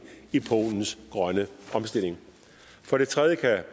i polens grønne omstilling for det tredje kan